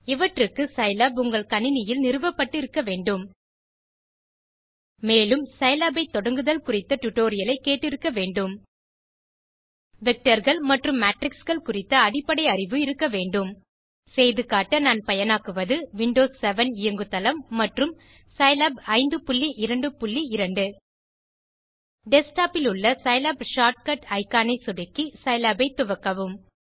இவற்றுக்கு சிலாப் உங்கள் கணினியில் நிறுவப்பட்டு இருக்க வேண்டும் மேலும் சிலாப் ஐ தொடங்குதல் குறித்த டியூட்டோரியல் ஐ கேட்டு இருக்க வேண்டும் Vectorகள் மற்றும் Matrixகள் குறித்த அடிப்படை அறிவு இருக்க வேண்டும் செய்து காட்ட நான் பயனாக்குவது விண்டோஸ் 7 இயங்கு தளம் மற்றும் சிலாப் 522 டெஸ்க்டாப் இலுள்ள சிலாப் ஷார்ட்கட் இக்கான் ஐ சொடுக்கி சிலாப் ஐ துவக்கவும்